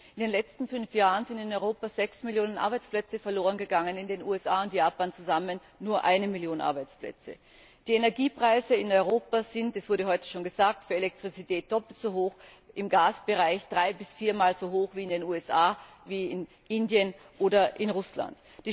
In den letzten fünf Jahren sind in Europa 6 Millionen Arbeitsplätze verloren gegangen, in den USA und Japan zusammen nur 1 Million Arbeitsplätze. Die Energiepreise in Europa sind das wurde heute schon gesagt für Elektrizität doppelt so hoch, im Gasbereich drei bis viermal so hoch wie in den USA, in Indien oder in Russland.